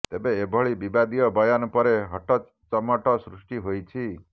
ତେବେ ଏଭଳି ବିବାଦୀୟ ବୟାନ ପରେ ହଟଚମଟ ସୃଷ୍ଟି ହୋଇଛି